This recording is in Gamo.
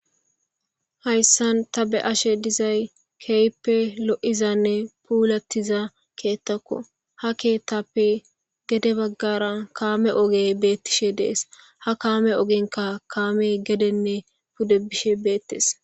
Hayssan ta be ashe dizay keype lo7izanne puulattiza keettakko ha keettappe gede baggara kaame ogey beettishe dees ha kaame ogenka kaame gedenne pudde bishe beettes